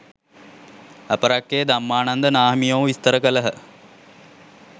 අපරැක්කේ ධම්මානන්ද නාහිමියෝ විස්තර කළහ